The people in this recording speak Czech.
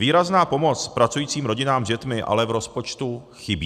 Výrazná pomoc pracujícím rodinám s dětmi ale v rozpočtu chybí.